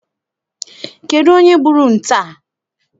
Kedụ onye gburu nte a?